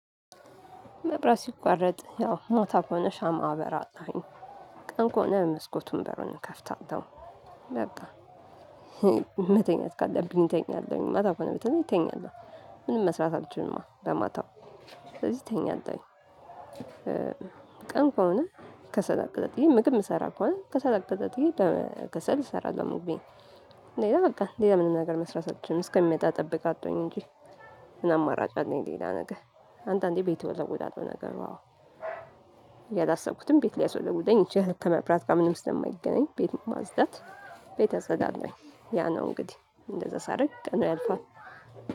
መብራት ሲቋረጥ ያው ሞታ ከሆነ ሻማ አበራለሁኝ። ቀን ከሆነ መስኮቱን በሩን እከፍታለሁ። በቃ መተኛት ካለብኝ እተኛለሁኝ ማታ በተለይ እተኛለሁ ምንም መስራት አልችልም በማታው ስለዚህ እተኛለሁኝ። ቀን ከሰል አቀጣጥየ ምግብ የምሰራ ከሆነ ከሰል አቀጣጥየ በከሰል እሰራለሁ ምግቤን። ሌላ በቃ ሌላ ምንም ነገር መስራት አልችልም እስከሚመጣ ጠብቅ አጥቶኝ እንጂ ምን አማራጭ ነኝ ሌላ ነገ አንተ አንዴ ቤት ወለወለ ነገር ነው። አዎ። ያላሰብኩትን ቤት ሊያስወለውለኝ ይችላል ከመብራት ጋር ምንም ስለማይገናኝ ቤት ማጽዳት። ቤት አፀዳለሁኝ ያ ነው እንግዲህ እንደዛ ሳደርግ ቀኑ ያልፋል።